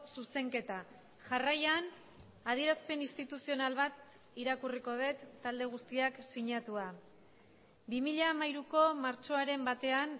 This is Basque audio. zuzenketa jarraian adierazpen instituzional bat irakurriko dut talde guztiak sinatua bi mila hamairuko martxoaren batean